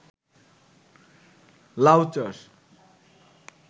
লাউ চাষ